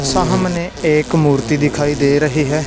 सामने एक मूर्ति दिखाई दे रही है।